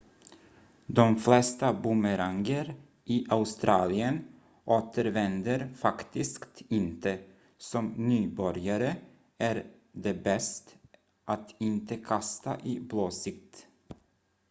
de flesta bumeranger i australien återvänder faktiskt inte som nybörjare är det bäst att inte kasta i blåsigt